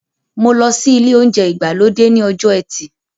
Mo lọ sí ilé oúnjẹ ìgbàlódé ní ọjọ ẹtì